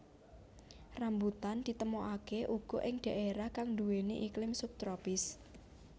Rambutan ditemokaké uga ing dhaérah kang nduwèni iklim sub tropis